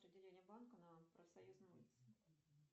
отделение банка на профсоюзной улице